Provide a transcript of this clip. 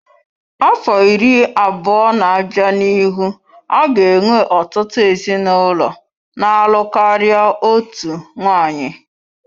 Afọ iri abụọ na-abịa n'ihu a ga-enwe ọtụtụ ezinụlọ na-alụ karịa otu nwanyị.